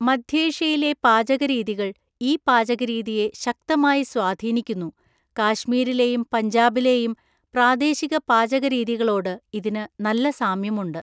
മധ്യേഷ്യയിലെ പാചകരീതികൾ ഈ പാചകരീതിയെ ശക്തമായി സ്വാധീനിക്കുന്നു, കാശ്മീരിലെയും പഞ്ചാബിലെയും പ്രാദേശിക പാചകരീതികളോട് ഇതിന് നല്ല സാമ്യമുണ്ട്.